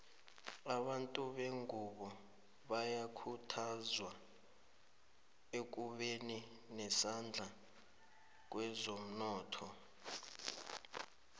abantu bengunbo bayakhuthazwa ekubeni nesandla kwezomnotho